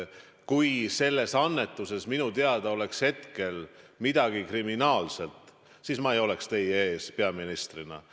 Kui selles annetuses oleks minu teada midagi kriminaalset, siis ma ei oleks teie ees peaministrina.